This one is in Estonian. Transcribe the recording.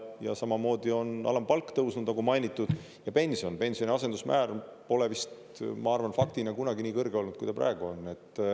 Ja samamoodi on alampalk tõusnud, nagu mainitud, ja pension – pensioni asendusmäär pole vist, ma arvan, faktina kunagi nii kõrge olnud, kui ta praegu on.